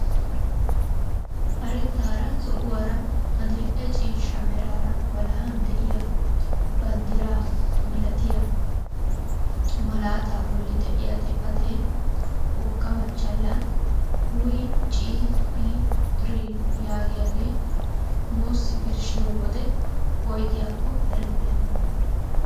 Karettaara zo'uwaara adil'e ciishsha meraara walahan de'iyaa banddiraa milatiyaa malaataa bolli de'iyaa xifatee wogga machchalan "WCHR" yaagiyaage nuusi birshshiyoo wode woygiyaakko erettena.